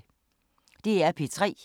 DR P3